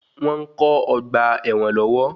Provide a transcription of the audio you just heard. Wọ́n ń kó ọgbà ẹwọn lọ́wọ́.